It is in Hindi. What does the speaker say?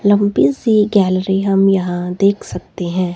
लंबी सी गैलरी हम यहां देख सकते है।